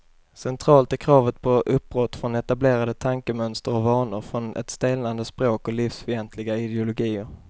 Centralt är kravet på uppbrott från etablerade tankemönster och vanor, från ett stelnande språk och livsfientliga ideologier.